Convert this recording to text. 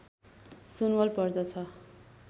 सुनवल पर्दछ